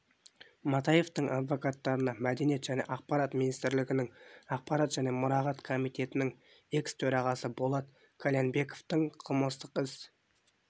матаевтың адвокаттарына мәдениет және ақпарат министрлігінің ақпарат және мұрағат комитетінің экс-төрағасы болат қальянбековтың қылмыстық іс